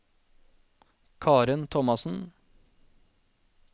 Karen Thomassen